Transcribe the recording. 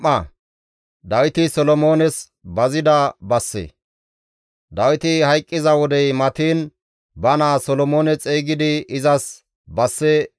Dawiti hayqqiza wodey matiin ba naa Solomoone xeygidi izas basse bazides;